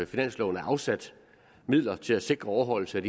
finansloven er afsat midler til at sikre overholdelse af